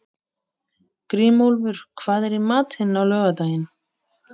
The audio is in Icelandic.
Grímólfur, hvað er í matinn á laugardaginn?